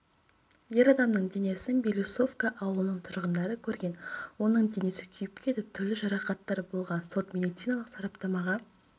ер адамның денесін белоусовка ауылының тұрғындары көрген оның денесі күйіп кетіп түрлі жарақаттар болған сот-медициналық сараптамаға